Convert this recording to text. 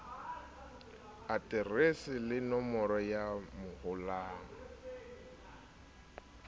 aterese le nomoro ya mohala